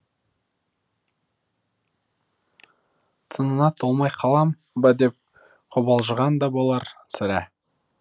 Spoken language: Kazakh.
сынына толмай қалам ба деп қобалжыған да болар сірә